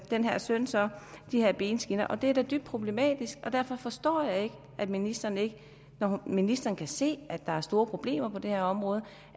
den her søn så de her benskinner og det er da dybt problematisk derfor forstår jeg ikke at ministeren ikke når ministeren kan se at der er store problemer på det her område